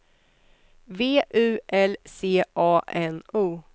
V U L C A N O